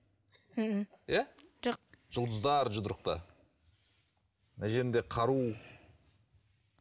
мхм иә жоқ жұлдыздар жұдырықта мына жерінде қару